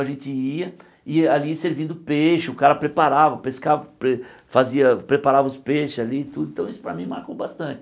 A gente ia e ali servindo peixe, o cara preparava, pescava pre fazia preparava os peixes ali tudo, então isso para mim marcou bastante.